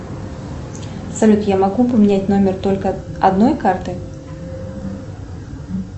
салют я могу поменять номер только одной карты